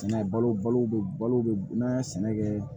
Balo balo bɛ balo n'an ye sɛnɛ kɛ